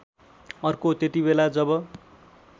अर्को त्यतिबेला जब